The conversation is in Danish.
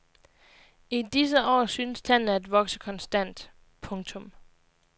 I disse år synes tallene at vokse konstant. punktum